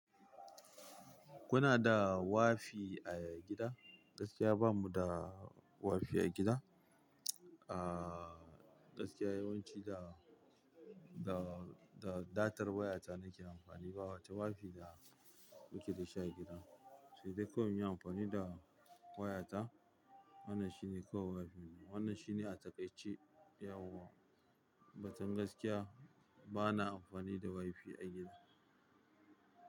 Kuna da wifi a gida? Gaskiya bamu da wifi a gida. Ahhh, gaskiya yawanci da, da, da datar wayata nake amfani ba wata wifi da muke da shi a gida. Sai dai kawai muyi amfani da wayata. Wannan shine kawai wifinmu. Wannan shine a takaice, yauwa. Batun gaskiya bana amfani da wifi a gida.